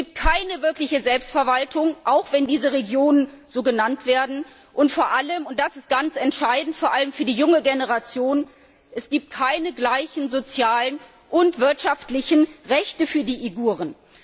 Es gibt keine wirkliche Selbstverwaltung, auch wenn diese Regionen so genannt werden, und vor allem und das ist ganz entscheidend vor allem für die junge Generation gibt es keine gleichen sozialen und wirtschaftlichen Rechte für die Uiguren.